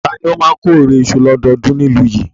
Ta ni ó máa ń kórè iṣu lọ́dọọdún ní ìlú yìí?